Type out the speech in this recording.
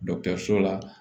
so la